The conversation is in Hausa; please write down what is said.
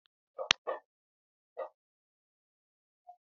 Kulawa, daga ɓangarorin ƙwanƙwasa zuwa adanawa yadda ya kamata, yana tanadi kayan aikin don aiki.